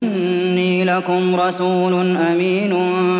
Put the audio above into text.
إِنِّي لَكُمْ رَسُولٌ أَمِينٌ